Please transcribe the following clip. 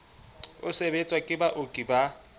o sebetswang ke baoki ba